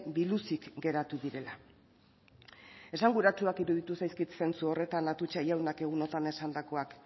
biluzik geratu direla esan guratsuak iruditu zaizkit zentsu horretan atutxa jaunak egun horretan esandakoak